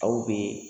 Aw bɛ